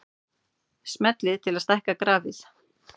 Smellið til að stækka grafið.